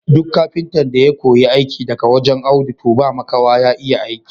Duk kafintan da ya koyi aiki daga wajen Audu toh ba makawa ya iya aiki.